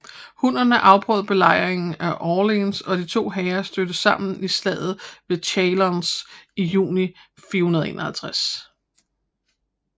Hunnerne afbrød belejringen af Orléans og de to hære stødte sammen i slaget ved Chalons i juni 451